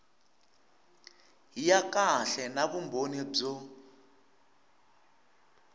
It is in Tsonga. ya kahle na vumbhoni byo